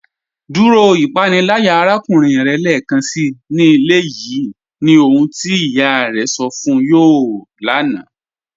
Dúró ìpànílàyà àràkùnrìn rẹ̀ lẹ́ẹkánsí ní ilẹ̀ yìí, ní ohun tí iyá rẹ̀ sọ̀ fún yọ̀ láńà.